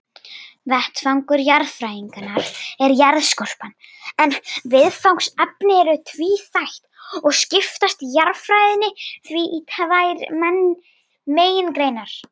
Vettvangur jarðfræðinnar er jarðskorpan, en viðfangsefnin eru tvíþætt og skiptist jarðfræðin því í tvær megingreinar.